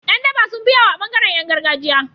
Yan daba sunfi yawo a bangaran Yan gargajiya